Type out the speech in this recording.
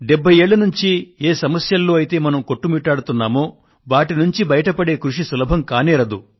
70 ఏళ్ళ నుండి ఏ సమస్యల్లో అయితే మనం కొట్టుమిట్టాడుతున్నామో వాటి నుండి బయటపడే కృషి సులభం కానేరదు